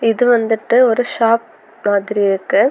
இது வந்துட்டு ஒரு ஷாப் மாதிரி இருக்கு.